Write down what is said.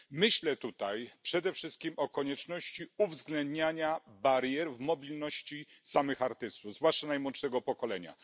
Myślę tutaj przede wszystkim o konieczności uwzględniania barier w mobilności samych artystów, zwłaszcza najmłodszego pokolenia.